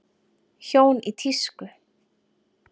Hjón í tísku